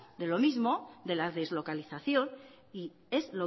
de lo mismo de la deslocalización y es